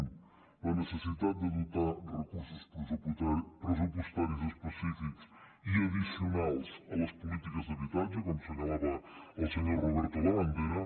un la necessitat de dotar de recursos pressupostaris específics i addicionals les polítiques d’habitatge com assenyalava el senyor roberto labandera